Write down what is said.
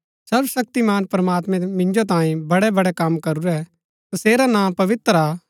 सर्वशक्तिमान प्रमात्मैं मिन्जो तांई बड़ैबड़ै कम करूरै तसेरा नां पवित्र हा